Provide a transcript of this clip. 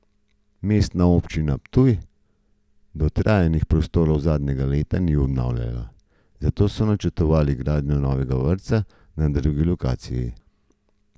Mestna občina Ptuj dotrajanih prostorov zadnja leta ni obnavljala, saj so načrtovali gradnjo novega vrtca na drugi lokaciji.